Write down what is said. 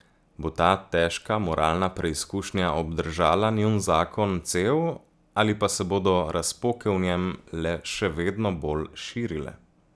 Bo ta težka moralna preizkušnja obdržala njun zakon cel ali pa se bodo razpoke v njem le še vedno bolj širile?